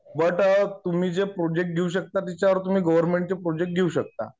But तुम्ही जे project घेऊ शकता तिच्यावर तुम्ही गव्हर्मेंटचे प्रोजेक्ट घेऊ शकता.